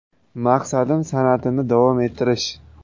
Maqsadim san’atimni davom ettirish.